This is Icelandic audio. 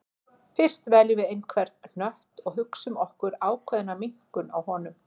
Fyrst veljum við einhvern hnött og hugsum okkur ákveðna minnkun á honum.